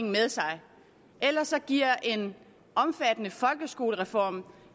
med sig ellers giver en omfattende folkeskolereform